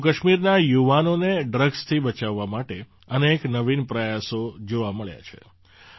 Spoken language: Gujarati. જમ્મુકાશ્મીરના યુવાનોને ડ્રગ્સથી બચાવવા માટે અનેક નવીન પ્રયાસો જોવા મળ્યા છે